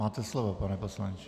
Máte slovo, pane poslanče.